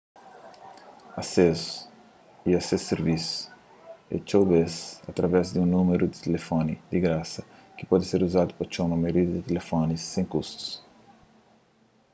asesu a es sirvisus é txeu bês através di un númeru di tilifoni di grasa ki pode ser uzadu pa txoma maioria di tilifonis sen kustus